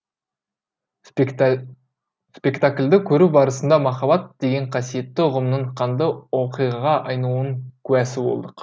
спектакльді көру барысында махаббат деген қасиетті ұғымның қанды оқиғаға айналуының куәсі болдық